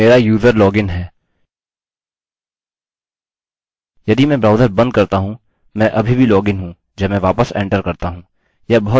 अतः मेरा user login है यदि मैं ब्राउजर बंद करता हूँ मैं अभी भी लॉगइन हूँ जब मैं वापस एंटर करता हूँ